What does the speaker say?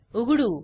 उघडू